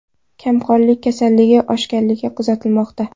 Kamqonlik kasalligi oshganligi kuzatilmoqda.